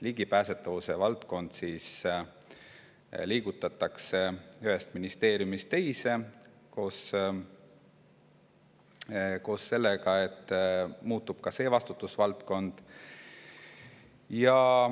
Ligipääsetavuse valdkond liigutatakse ühest ministeeriumist teise, koos sellega muutub ka see vastutusvaldkond.